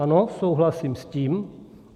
Ano, souhlasím s tím.